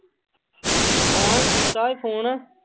ਹਾਂ ਕੀਤਾ ਸੀ phone